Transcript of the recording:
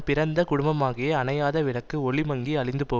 பிறந்த குடும்பமாகிய அணையாத விளக்கு ஒளி மங்கி அழிந்து போ